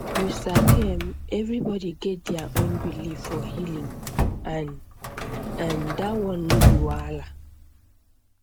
you sabi erm everybody get their own belief for healing and um dat one no be wahala